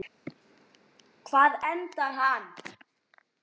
Hvar endar hann?